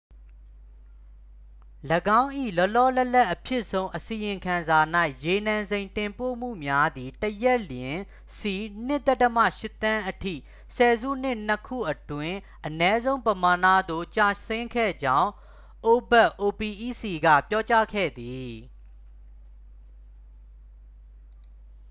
၄င်း၏ လောလောလတ်လတ်အဖြစ်ဆုံး အစီရင်ခံစာ၌ ရေနံစိမ်းတင်ပို့မှုများသည် တစ်ရက်လျှင် စည် ၂.၈ သန်းအထိ ဆယ်စုနှစ်နှစ်ခုအတွင်း အနည်းဆုံးပမာဏသို့ ကျဆင်းခဲ့ကြောင်း အိုပက် opec က ပြောကြားခဲ့သည်။